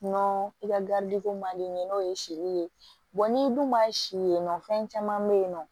Nɔ i ka garidi ko man di n ye n'o ye sili ye n'i dun ma si yen nɔ fɛn caman be yen nɔ